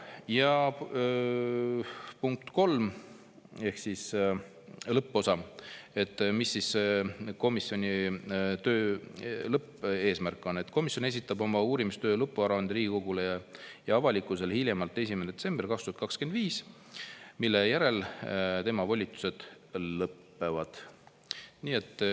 Ja lõpuosa, mis siis komisjoni töö lõppeesmärk on: komisjon esitab oma uurimistöö lõpparuande Riigikogule ja avalikkusele hiljemalt 1. detsembril 2025, mille järel tema volitused lõpevad.